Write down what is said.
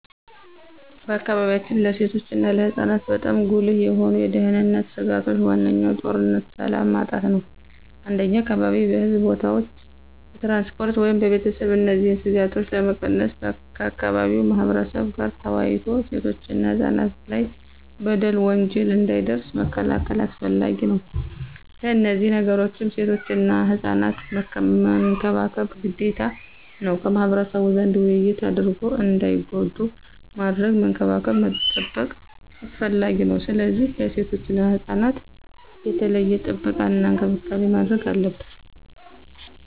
በአካባቢያችን ለሴቶች እና ለህፃናት በጣም ጉልህ የሆኑ የደህንነት ስጋቶች ዋነኛው ጦርነትና ሰላም ማጣት ነው። እንደኛ አካባቢ በሕዝብ ቦታዎች፣ በትራንስፖርት ወይም በቤተሰብ እነዚህን ስጋቶች ለመቀነስ ከአካባቢው ማህበረብ ጋር ተወያይቶ ሴቶችና ህፃናት ላይ በደል፣ ወንጀል እንዳይደርስ መከላከል አስፈላጊ ነው። ከነዚህ ነገሮችም ሴቶችና ህፃናት መንከባከብ ግዴታ ነው። ከማህበረሰቡ ዘንድ ውይይት አድርጎ እንዳይጎዱ ማድረግ፣ መንከባከብ መጠበቅ አስፈላጊ ነው። ስለዚህ ለሴቶችና ህፃናት የተለየ ጥበቃና እንክብካቤ ማድረግ አለብን።